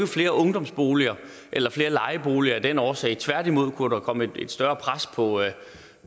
flere ungdomsboliger eller flere lejeboliger af den årsag tværtimod kunne der komme et større pres på